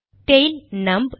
tail நம்ப்